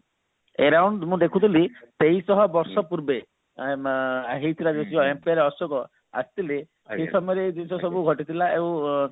around ମୁଁ ଦେଖୁଥିଲି ଶହ ବର୍ଷ ପୂର୍ବେ ଆ ହେଇଥିଲା ବୋଲି ଅଶୋକ ଆସିଥିଲେ ସେ ସମୟରେ ଜିନିଷ ସବୁ ଘଟିଥିଲା ଆଉ